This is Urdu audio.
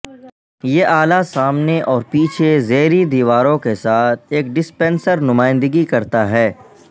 یہ اعلی سامنے اور پیچھے زیریں دیواروں کے ساتھ ایک ڈسپنسر نمائندگی کرتا ہے